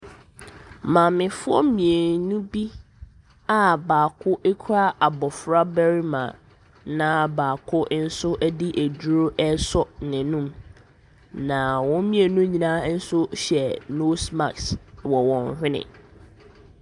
Maamefoɔ mmienu bi a baako kura abɔfra barima na baako nso di aduro ɛso na nom a ɔmɔ mmienu nso hyɛ nose mask wɔ hwene.